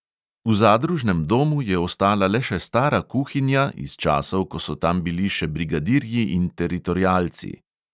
V zadružnem domu je ostala le še stara kuhinja iz časov, ko so tam bili še brigadirji in teritorialci.